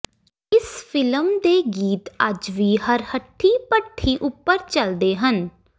ਇਸ ਫ਼ਿਲਮ ਦੇ ਗੀਤ ਅੱਜ ਵੀ ਹਰ ਹੱਟੀ ਭੱਠੀ ਉੱਪਰ ਚਲਦੇ ਹਨ